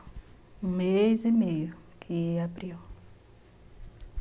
Um mês e meio que abriu.